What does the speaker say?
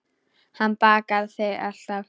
Hann bakar þig alltaf.